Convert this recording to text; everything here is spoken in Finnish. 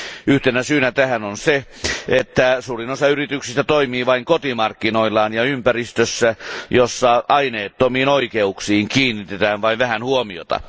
Yhtenä syynä tähän on se, että suurin osa yrityksistä toimii vain kotimarkkinoillaan ja ympäristössä, jossa aineettomiin oikeuksiin kiinnitetään vain vähän huomioita.